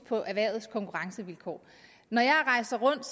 på erhvervets konkurrencevilkår når jeg rejser rundt